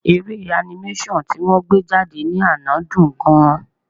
Eré animation ti wọ́n gbé jáde ní àná dùn-ún gan-an.